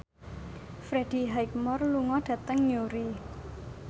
Freddie Highmore lunga dhateng Newry